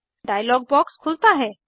dialogue box खुलता है